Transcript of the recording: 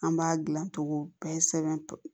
An b'a dilan togo bɛɛ sɛbɛn